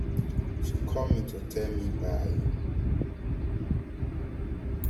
she call me to tell me bye um